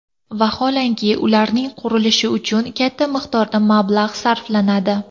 Vaholanki, ularning qurilishi uchun katta miqdorda mablag‘ sarflanadi.